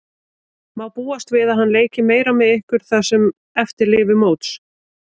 Má búast við að hann leiki meira með ykkur það sem eftir lifir móts?